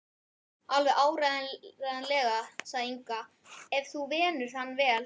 Alveg áreiðanlega, sagði Inga, ef þú venur hann vel.